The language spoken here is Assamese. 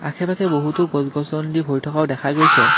আশে পাশে বহুতো গছ-গছনিদি ভৰি থকাও দেখা গৈছে।